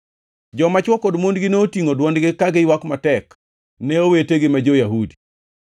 Joma chwo kod mondgi notingʼo dwondgi ka giywak matek ne owetegi ma jo-Yahudi.